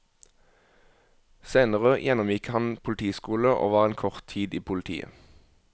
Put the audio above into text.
Senere gjennomgikk han politiskole og var en kort tid i politiet.